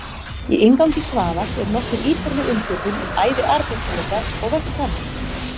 Í inngangi Svavars er nokkuð ítarleg umfjöllun um ævi Aristótelesar og verk hans.